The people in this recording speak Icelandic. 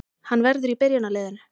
Hann verður í byrjunarliðinu